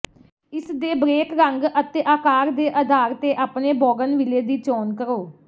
ਇਸ ਦੇ ਬ੍ਰੇਕ ਰੰਗ ਅਤੇ ਆਕਾਰ ਦੇ ਅਧਾਰ ਤੇ ਆਪਣੇ ਬੋਗਨਵਿਲੇ ਦੀ ਚੋਣ ਕਰੋ